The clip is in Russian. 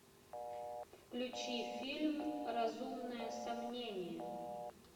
включи фильм разумное сомнение